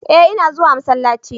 eh ina zuwa masallaci